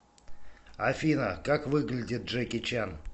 афина как выглядит джеки чан